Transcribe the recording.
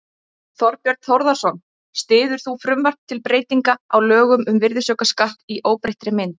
Þorbjörn Þórðarson: Styður þú frumvarp til breytinga á lögum um virðisaukaskatt í óbreyttri mynd?